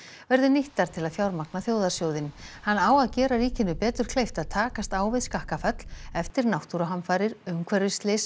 verði nýttar til að fjármagna þjóðarsjóðinn hann á að gera ríkinu betur kleift að takast á við skakkaföll eftir náttúruhamfarir umhverfisslys